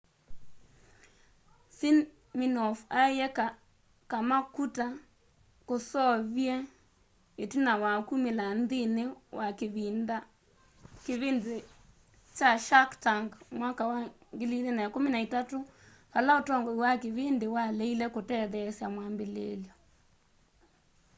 siminoff aiye kama kuta kusoovie itina wa kumila nthini wa kivindi kya shark tank mwaka wa 2013 vala utongoi wa kivindi waleile kutetheesya mwambililyo